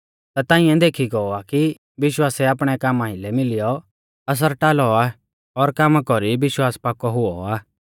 ता तांइऐ देखी गौ आ कि विश्वासै आपणै कामा आइलै मिलियौ असर टालौ आ और कामा कौरी विश्वास पाकौ हुऔ आ